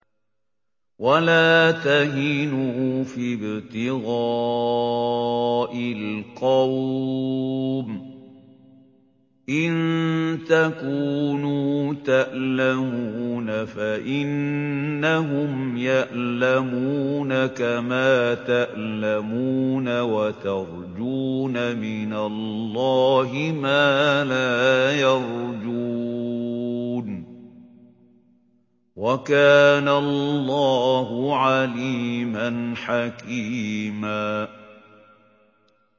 وَلَا تَهِنُوا فِي ابْتِغَاءِ الْقَوْمِ ۖ إِن تَكُونُوا تَأْلَمُونَ فَإِنَّهُمْ يَأْلَمُونَ كَمَا تَأْلَمُونَ ۖ وَتَرْجُونَ مِنَ اللَّهِ مَا لَا يَرْجُونَ ۗ وَكَانَ اللَّهُ عَلِيمًا حَكِيمًا